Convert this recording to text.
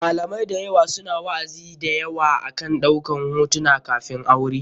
Malamai da yawa su na wa'azi da yawa akan ɗaukan hotunan kafin aure.